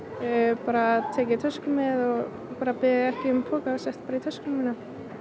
bara taka tösku með og beðið ekki um poka sett bara í töskuna mína